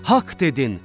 Haqq dedin.